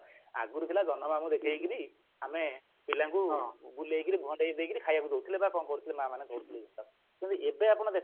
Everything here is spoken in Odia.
ଆଗରୁ ଥିଲା ଜହ୍ନମାମୁଁ ଦେଖେଇକିରି ଆମେ ପିଲାଙ୍କୁ ବୁଲେଇକିରି ଭଣ୍ଡେଇ ଦେଇକିରି ଖାଇବାକୁ ଦଉଥିଲେ ବା କଣ କରୁଥିଲେ ମା ମାନେ କଣ କରୁଥିଲେ କିନ୍ତୁ ଏବେ ଆପଣ ଦେଖନ୍ତୁ